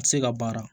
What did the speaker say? A tɛ se ka baara